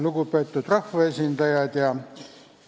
Lugupeetud rahvaesindajad!